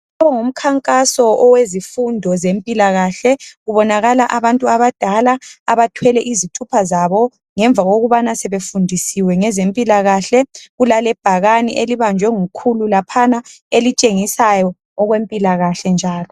Lo ngumkhankaso wezifundo zempilakahle kubonakala abantu abadala abathwele izithupha zabo ngemva kokubana sebefundisiwe ngezempilakahle kulalebhakane elibanjwe ngukhulu laphana elitshengisayo okwempilakahle njalo.